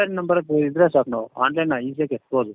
UN number ಇದ್ರೆ ಸಾಕು online easyಯಾಗಿ ಎತ್ಬಹುದು